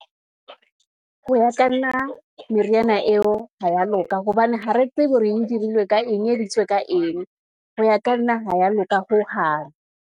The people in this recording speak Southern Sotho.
Ho ya ka nna meriana eo ha ya loka, hobane ha re tsebe hore e dirilwe ka eng, ka eng, ho ya ka nna ha ya loka hohang.